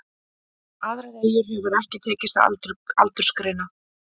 Aðrar eyjar hefur ekki tekist að aldursgreina.